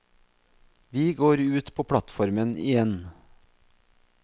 Vi går ut på plattformen igjen.